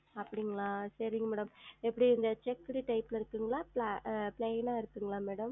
அப்டிங்களா சேரிங்க Madam எப்டி இந்த Checked Type ல இருக்குங்ளா ப்ல Plain ஆ இருக்குங்ளா Madam